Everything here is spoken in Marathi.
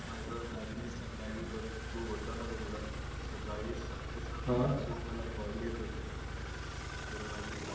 माझ अर सकळी बग तू होता णा? ह room ला सकाळी साडे सहा हो वाजून मला call येत होते.